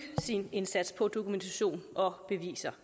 sin indsats på dokumentation og beviser